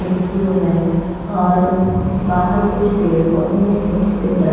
खिड़कियों में और बाहर कुछ पेड़-पौधे हैं छोटे-छोटे द्र --